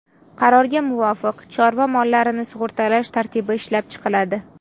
Qarorga muvofiq, chorva mollarini sug‘urtalash tartibi ishlab chiqiladi.